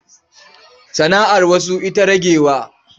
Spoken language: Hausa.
Sana'ar wasu ita ragewa.